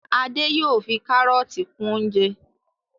Ade yóò fí karọọti kún oúnjẹ